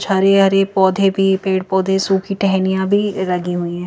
छरे हरे पौधे भी पेड़-पौधे सूखी टहनियां भी लगी हुई है।